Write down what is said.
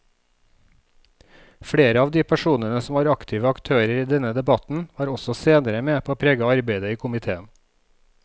Flere av de personene som var aktive aktører i denne debatten var også senere med på å prege arbeidet i komiteen.